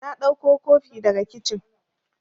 Na ɗauko kofi daga kicin